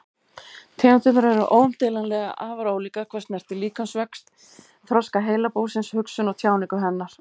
Tegundirnar eru óumdeilanlega afar ólíkar hvað snertir líkamsvöxt, þroska heilabúsins, hugsun og tjáningu hennar.